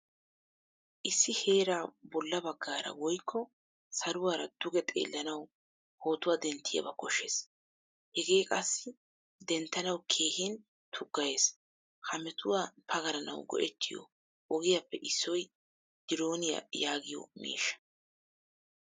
Issi heeraa bolla baggaara woykko saluwaara dugge xeelanawu pootuwaa denttiyaba koshshees. Hegee qassi denttanawu keehin tuggayees. Ha metuwaa pagalanawu go'ettiyo ogiyappe issoy dironiya yaagiyo miishshaa.